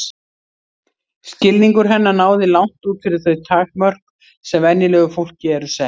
Skilningur hennar náði langt út fyrir þau takmörk sem venjulegu fólki eru sett.